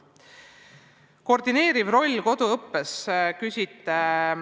Küsite koordineeriva rolli kohta koduõppes.